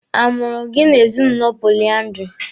A mụrụ gị n'ezinụlọ poliandiri?